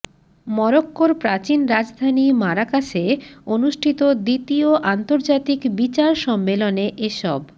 মরক্কোর প্রাচীন রাজধানী মারাকাসে অনুষ্ঠিত দ্বিতীয় আন্তর্জাতিক বিচার সম্মেলনে এসব